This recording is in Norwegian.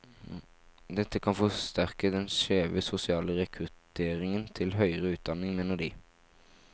Dette kan forsterke den skjeve sosiale rekrutteringen til høyere utdanning, mener de.